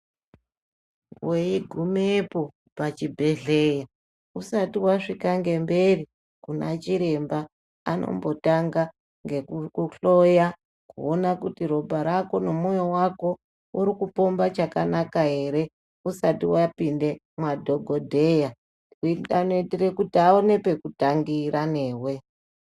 Weigumepo pachibhedhlera usati wasvika ngemberi Kuna chiremba anombotanga nekukuhloya kuona kuti ropa rako nomoyo wako urikupomba chakanaka ere usati wapinde madhokodheya anoitire kuti aone pekutangira newe.